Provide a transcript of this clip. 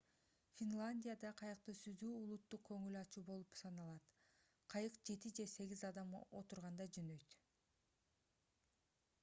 финляндияда кайыкта сүзүү улуттук көңүл ачуу болуп саналат кайык жети же сегиз адам отурганда жөнөйт